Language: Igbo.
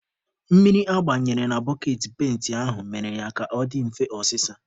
Mmiri agbaranyere na boketị penti aha mere ya ka ọ dị mfe ọsịsa.